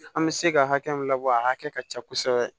An bɛ se ka hakɛ min labɔ a hakɛ ka ca kosɛbɛ